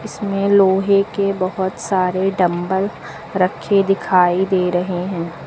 इसमें लोहे के बहोत सारे डम्बल रखे दिखाई दे रहे है।